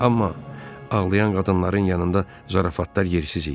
Amma ağlayan qadınların yanında zarafatlar yersiz idi.